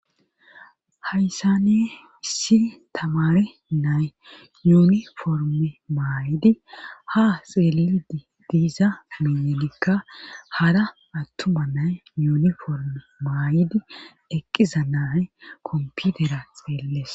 hayssane issi tamare nay yuniforme maayidi ha xeellidi diiza miyenikka hara attuma nay yuniforme maay7idi eqqiza naye komputera xeelles